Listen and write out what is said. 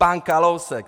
Pan Kalousek!